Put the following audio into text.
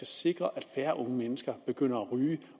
sikre at færre unge mennesker begynder at ryge